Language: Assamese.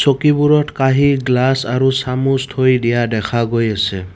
চকীবোৰত কাঁহি গ্লাছ আৰু চামুচ থৈ দিয়া দেখা গৈ আছে।